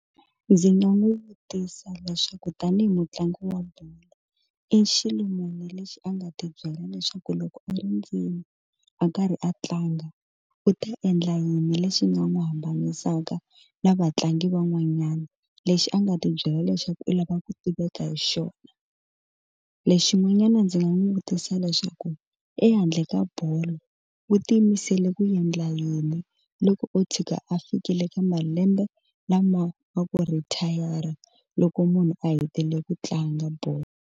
Ndzi nga n'wi vutisa leswaku tanihi mutlangi wa bolo i xilo muni lexi a nga ti byela leswaku loko a ri ndzeni a karhi a tlanga u ta endla yini lexi nga n'wi hambanisaka na vatlangi van'wanyana lexi a nga ti byela leswaku u lava ku tiveka hi xona lexi xin'wanyana ndzi nga n'wi vutisa leswaku ehandle ka bolo u ti yimisele ku endla yini loko o tshika a fikile ka malembe lama nga ku router loko munhu a hetelele ku tlanga bolo.